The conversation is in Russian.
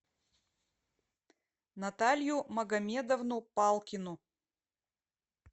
наталью магомедовну палкину